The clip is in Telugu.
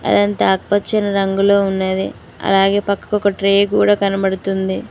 అదంతా ఆకుపచ్చని రంగులో ఉన్నది అలాగే పక్కకు ఒక ట్రే కూడ కనబడుతుంది.